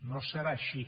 no serà així